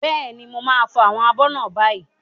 Bẹ́ẹ̀ni, mo máa fọ àwọn abọ́ náà báyìí.